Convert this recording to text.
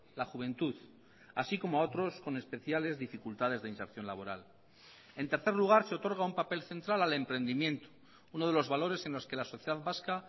la juventud así como a otros con especiales dificultades de inserción laboral en tercer lugar se otorga un papel central al emprendimiento uno de los valores en los que la sociedad vasca